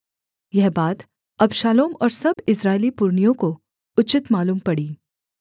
यह बात अबशालोम और सब इस्राएली पुरनियों को उचित मालूम पड़ी